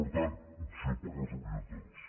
per tant opció pels orientadors